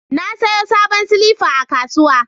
Na sayo sabon silifa a kasuwa.